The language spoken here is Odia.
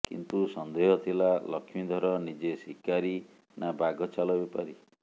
କିନ୍ତୁ ସନ୍ଦେହ ଥିଲା ଲକ୍ଷ୍ମୀଧର ନିଜେ ଶିକାରୀ ନା ବାଘଛାଲ ବେପାରୀ